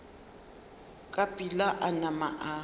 ka pela a nama a